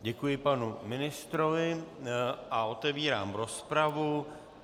Děkuji panu ministrovi a otevírám rozpravu.